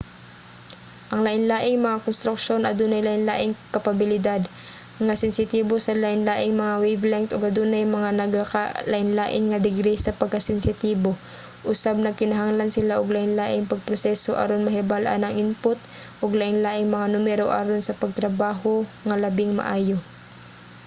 ang lain-laing mga konstruksyon adunay lain-laing kapabilidad nga sensitibo sa lain-laing mga wavelength ug adunay mga nagakalainlain nga degree sa pagkasensitibo usab nagkinahanglan sila og lain-laing pagproseso aron mahibal-an ang input ug lain-laing mga numero aron sa pagtrabaho nga labing maayo